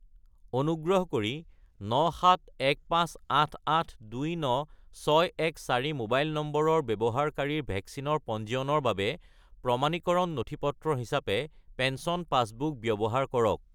অনুগ্ৰহ কৰি 97158829614 মোবাইল নম্বৰৰ ব্যৱহাৰকাৰীৰ ভেকচিনৰ পঞ্জীয়নৰ বাবে প্ৰমাণীকৰণ নথিপত্ৰ হিচাপে পেঞ্চন পাছবুক ব্যৱহাৰ কৰক।